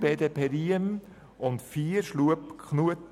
BDP/ Riem und die Auflage 4 gemäss dem Antrag